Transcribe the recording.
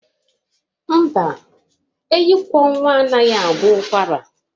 Mba, enyikwọnwa anaghị agwọ ụkwara